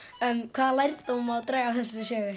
hvaða lærdóm má draga af þessari sögu